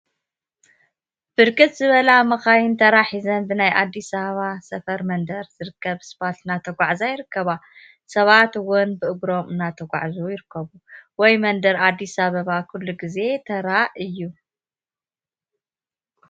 ብርክት ዝበላ መካይን ተራ ሒዘን ብናይ አዲስ አበባ ሳፋሪ መንደር ዝርከብ ስፓልት እናተጓዓዛ ይርከባ፡፡ ሰባት እውን ብእግሮም እናተጓዓዙ ይርከቡ፡፡ ወይ መንደር አዲሰ አበባ ኩሉ ግዜ ተራ እዩ፡፡